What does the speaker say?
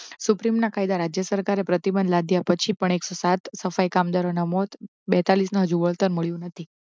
Supreme ના કાયદા રાજ્ય સરકારે પ્રતિબંધ લાદયા પછી પણ એક્સો સાઠ સફાઈ કામદારો ના મોત બેતાળીસ ને હજુ વળતર મળયો નથી.